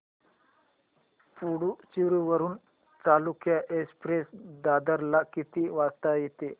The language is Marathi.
पुडूचेरी वरून चालुक्य एक्सप्रेस दादर ला किती वाजता येते